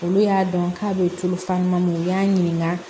Olu y'a dɔn k'a bɛ tulu falen u y'a ɲininka